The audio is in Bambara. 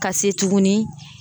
Ka se tuguni.